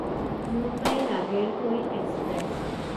Mumbai Nagercoil express